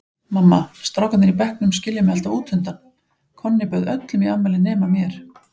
Mamma, strákarnir í bekknum skilja mig alltaf útundan, Konni bauð öllum í afmælið nema mér.